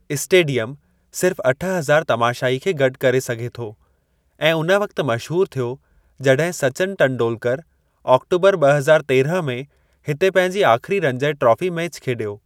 Stadium सिर्फ़ अठ हज़ार तमाशाईं खे गॾु करे सघे थो ऐं उन वक़्ति मशहूरु थियो जॾहिं सचिन टेंडूल्कर आक्टोबरु ॿ हज़ार तेरहं में हिते पंहिंजी आख़िरी रंजय ट्राफ़ी मैचि खेॾियो।